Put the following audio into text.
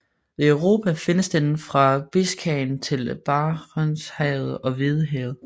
Ved Europa findes den fra Biscayen til Barentshavet og Hvidehavet